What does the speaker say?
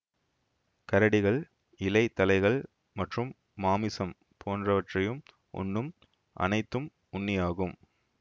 கரடிகள் இலை தழைகள் மற்றும் மாமிசம் போன்றவற்றையும் உண்ணும் அனைத்தும் உண்ணியாகும்